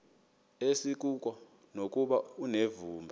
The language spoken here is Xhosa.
asikuko nokuba unevumba